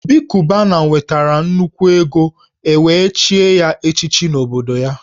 Obi Cubana nwetara nnukwu ego e wee chie ya echichi n’obodo ya